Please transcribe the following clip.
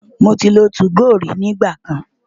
Mo ti lo 2go rí nígbà kan.